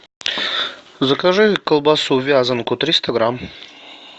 закажи колбасу вязанку триста грамм